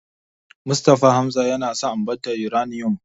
Mustapha Hamza yana son ambatar Yuraniyom.